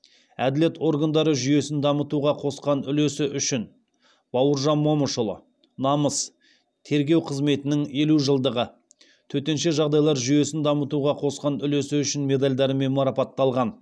әділет органдары жүйесін дамытуға қосқан үлесі үшін бауыржан момышұлы намыс тергеу қызметінің елу жылдығы төтенше жағдайлар жүйесін дамытуға қосқан үлесі үшін медальдарымен мараптталған